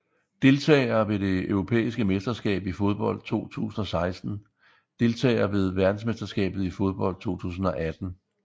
Deltagere ved det europæiske mesterskab i fodbold 2016 Deltagere ved verdensmesterskabet i fodbold 2018